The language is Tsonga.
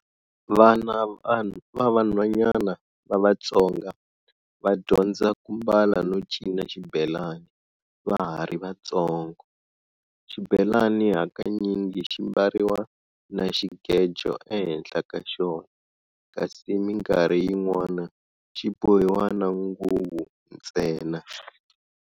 Vana vavanhwanyana va Vatsonga, vadyondza kumbala no cina Xibelani, vahari vatsongo. Xibelani hakanyingi ximbariwa na Xigejo enhenhla kaxona, kasi minkarhi yin'wana xibohiwa na nguvu ntsena.